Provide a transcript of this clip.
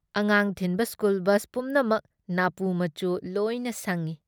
ꯑꯉꯥꯡ ꯊꯤꯟꯕ school bus ꯄꯨꯝꯅꯃꯛ ꯅꯥꯄꯨ ꯃꯆꯨ ꯂꯣꯏꯅ ꯁꯪꯏ ꯫